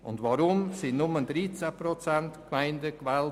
Weshalb wurden nur 13 Prozent der Gemeinden gewählt?